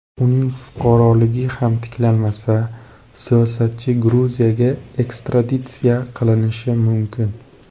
Uning fuqaroligi ham tiklanmasa, siyosatchi Gruziyaga ekstraditsiya qilinishi mumkin .